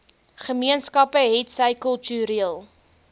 gemeenskappe hetsy kultureel